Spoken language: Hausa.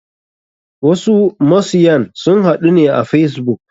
Wasu masyan sun haɗu ne a facebook.